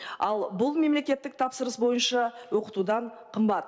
ал бұл мемлекеттік тапсырыс бойынша оқытудан қымбат